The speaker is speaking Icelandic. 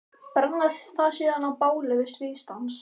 Brenna það síðan á báli við stríðsdans.